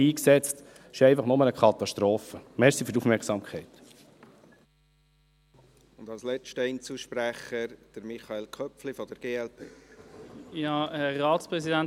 Wie gesagt: 130 Mio. Franken, die nicht eingesetzt wurden, dies ist nur eine Katastrophe.